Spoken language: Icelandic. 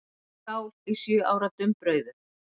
Skál í sjö ára dumbrauðu.